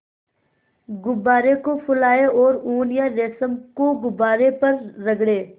गुब्बारे को फुलाएँ और ऊन या रेशम को गुब्बारे पर रगड़ें